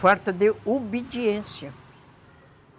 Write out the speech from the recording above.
Falta de obediência.